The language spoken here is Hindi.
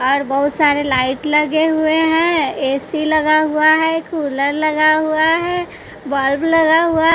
और बहुत सारे लाइट लगे हुए हैं ए_सी लगा हुआ है कूलर लगा हुआ है बल्ब लगा हुआ--